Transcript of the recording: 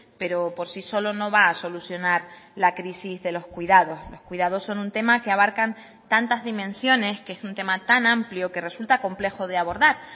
pero por sí solo no va a solucionar la crisis de los cuidados los cuidados son un tema que abarcan tantas dimensiones que es un tema tan amplio que resulta complejo de abordar